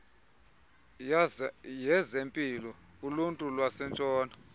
yezempilo uluntu lwentshona